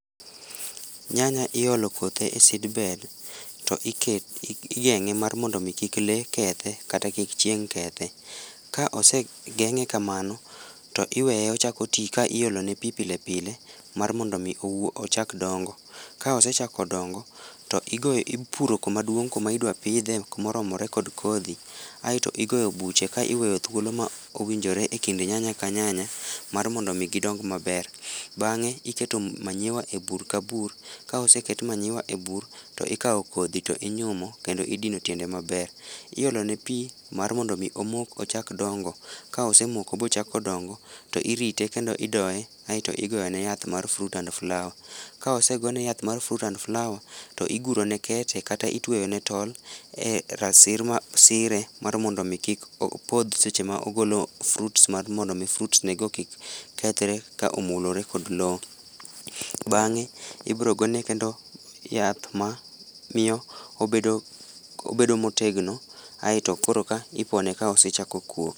Nyanya iolo kothe e seedbed to iketo, igenge mar mondo kik lee kethe kata kik chieng kethe,.Ka osegenge kamano to iweye ochako tii ka iolone pii pile pile mar mondo ochak dongo. Ka osechako dongo to ipuro kuma duong kuma idwa pidhe kuma oromore kod kodhi aito igoyo buche ka iweyo thuolo ma owinjore ekind nyanya ka nyanya mar mondo mi gidong maber. Bange tiketo manyiwa e bur ka bur, Ka oseket manyiwa e bur to ikao kodhi to inyumo kendo idino tiende maber. Iolone pii mar mondo omok ochak dongo. Ka osemoko ma ochako dongo to irite aito idoye kairto igone yath mar fruit and flower. Ka osegone yath mar fruit and flower to iguro ne kete kata itweyo ne tol e rasir masire mar mondo mi kik opodh seche ma ogolo fruits mar mondo fruits ne go kik kethre ka omulore kod loo. Bang ibro gone kendo yath ma miyo obedo, obedo motegno aito koro ka ipone ka osechako kuo